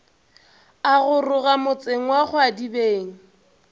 a goroga motseng wa kgwadibeng